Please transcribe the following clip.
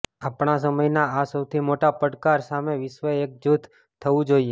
આપણા સમયના આ સૌથી મોટા પડકાર સામે વિશ્વે એકજૂથ થવું જોઇએ